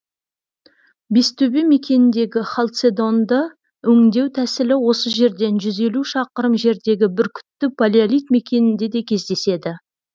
бестөбе мекеніндегі халцедонды өңдеу тәсілі осы жерден жүз елу шақырым жердегі бүркітті палеолит мекенінде де кездеседі